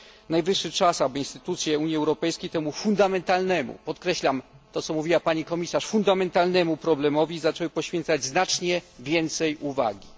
Najwyższy czas, aby instytucje Unii Europejskiej temu fundamentalnemu podkreślam to, co mówiła pani komisarz fundamentalnemu problemowi zaczęły poświęcać znacznie więcej uwagi.